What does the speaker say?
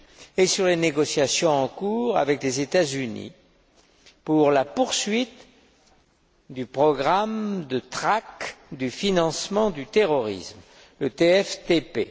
et sur les négociations en cours avec les États Unis pour la poursuite du programme de traque du financement du terrorisme, le TFTP.